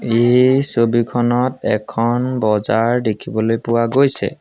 এই ছবিখনত এখন বজাৰ দেখিবলৈ পোৱা গৈছে।